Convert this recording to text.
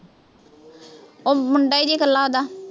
ਉਹ ਮੁੰਡਾ ਜੀ ਇਕੱਲਾ ਉਹਦਾ